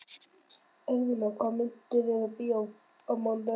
Eirfinna, hvaða myndir eru í bíó á mánudaginn?